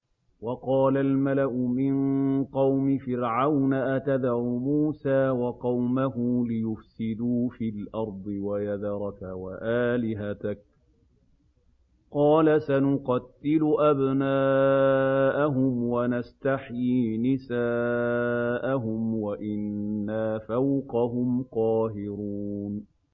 وَقَالَ الْمَلَأُ مِن قَوْمِ فِرْعَوْنَ أَتَذَرُ مُوسَىٰ وَقَوْمَهُ لِيُفْسِدُوا فِي الْأَرْضِ وَيَذَرَكَ وَآلِهَتَكَ ۚ قَالَ سَنُقَتِّلُ أَبْنَاءَهُمْ وَنَسْتَحْيِي نِسَاءَهُمْ وَإِنَّا فَوْقَهُمْ قَاهِرُونَ